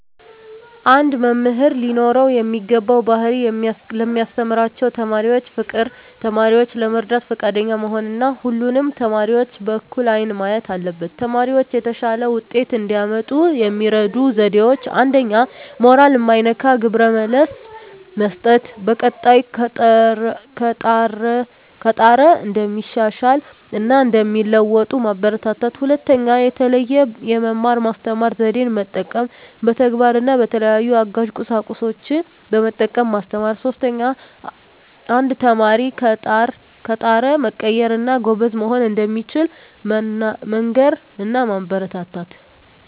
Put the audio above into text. አንድ መምህር ሊኖረው የሚገባው ባህሪ ለሚያስተምራቸው ተማሪዎች ፍቅር፣ ተማሪዎችን ለመርዳት ፈቃደኛ መሆን እና ሁሉንም ተማሪዎች በእኩል አይን ማየት አለበት። ተማሪዎች የተሻለ ውጤት እንዲያመጡ የሚረዱ ዜዴዎች 1ኛ. ሞራል ማይነካ ግብረ መልስ መስጠት፣ በቀጣይ ከጣረ እንደሚሻሻል እና እንደሚለዎጡ ማበራታታት። 2ኛ. የተለየ የመማር ማስተማር ዜዴን መጠቀም፣ በተግባር እና በተለያዩ አጋዥ ቁሳቁሶችን በመጠቀም ማስተማር። 3ኛ. አንድ ተማሪ ከጣረ መቀየር እና ጎበዝ መሆን እንደሚችል መንገር እና ማበረታታት።